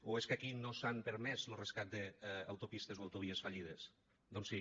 o és que aquí no s’ha permès lo rescat d’autopistes o autovies fallides doncs sí